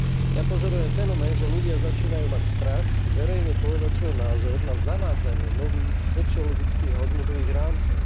Ja pozorujem fenomén, že ľudia začínajú mať strach verejne povedať svoj názor na zavádzanie nových sociologických a hodnotových rámcov.